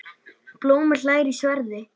Blómi hlær í sverði.